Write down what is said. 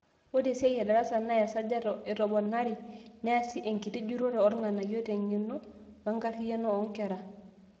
Ore esiai edarasa naa easajati etomonoare, neasi enkiti jurro oorng'anayio teng'eno wenkarriyano oonkera.